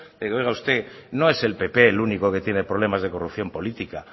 de que oiga usted no es el pp el único que tiene problemas de corrupción política